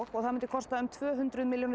og það mundi kosta tvö hundruð milljónir